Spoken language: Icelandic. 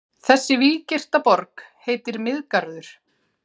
Þessi víggirta borg heitir Miðgarður.